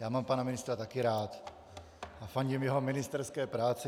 Já mám pana ministra taky rád a fandím jeho ministerské práci.